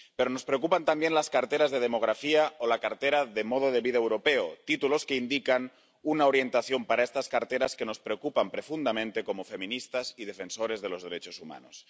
Pero nos preocupan también las carteras de Demografía o la cartera de Modo de Vida Europeo, títulos que indican una orientación para estas carteras que nos preocupan profundamente como feministas y defensores de los derechos humanos.